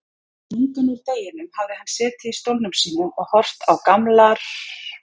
Lungann úr deginum hafði hann setið í stólnum sínum og horft á gamlar